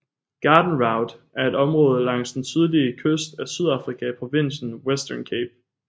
Garden Route er et område langs den sydlige kyst af Sydafrika i provinsen Western Cape